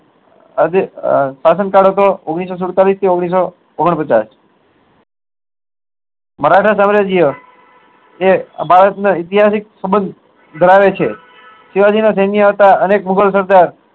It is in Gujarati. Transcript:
આજે આહ શાસન કાળ હતો એ ઓગણીસ સો સુડતાલીસ થી ઓગણીસ સો ઓગણ પચાસ મરાઠા સામ્રાજ્ય એ ભારત ના એતિહાસિક સબંધ ધરાવે છે શિવાજી ના શેન્ય હતા અનેક મુગલ